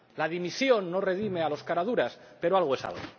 La dimisión no redime a los caraduras, pero algo es algo.